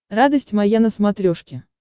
радость моя на смотрешке